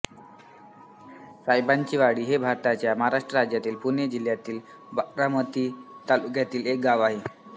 सायंबाचीवाडी हे भारताच्या महाराष्ट्र राज्यातील पुणे जिल्ह्यातील बारामती तालुक्यातील एक गाव आहे